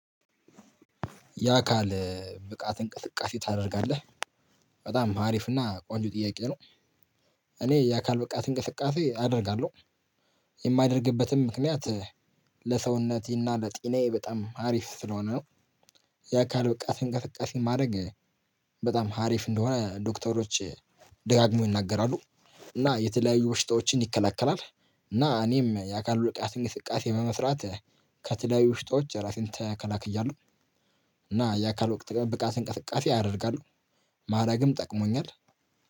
የአካል ብቃት እንቅስቃሴ ታደርጋለህ በጣም አሪፍና ቆንጆ ጥያቄ ነው። እኔ የአካል ብቃት እንቅስቃሴ አደርጋለሁ። የማያደርግበትም ምክንያት ለሰውነቴና ጤናዬ በጣም ሀሪፍ ስለሆነ ነው። የአካል ብቃትን እንቅስቃሴ ማድረግ በጣም ሀሪፍ እንደሆነ ዶክተሮች ደጋግመው ይናገራሉ። እና የተለያዩ በሽታዎችን ይከለከላል እና እኔም የአካል ብቃት እንቅስቃሴን በመስራት ከተለያዩ በሽታዎች ራሴን ተከላክያለሁ። እና የአካል ወቅት ብቃት እንቅስቃሴ ያደርጋሉ። ማድረግም ጠቅሞኛል።